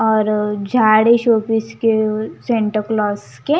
और झाड़ी शोपीस के सेंटा क्लॉज के--